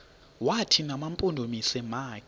wathi mampondomise makhe